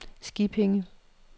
Skippinge